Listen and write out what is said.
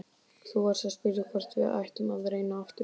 Þú varst að spyrja hvort við ættum að reyna aftur.